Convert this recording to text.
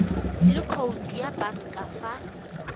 le khoutu ya banka fa